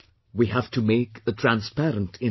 We have to make a transparent India